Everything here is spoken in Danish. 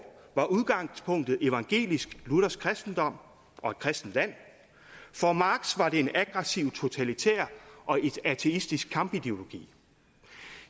var udgangspunktet evangelisk luthersk kristendom og et kristent land for marx var det en aggressiv totalitær og ateistisk kampideologi